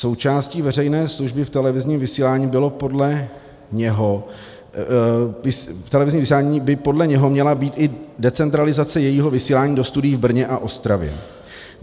Součástí veřejné služby v televizním vysílání by podle něho měla být i decentralizace jejího vysílání do studií v Brně a Ostravě.